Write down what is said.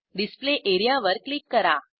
display area वर click करा